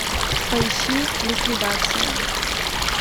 поищи ликвидация